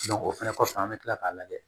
o fɛnɛ kɔfɛ an bɛ tila k'a lajɛ